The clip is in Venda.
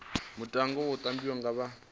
mutoga u tambiwa nga vha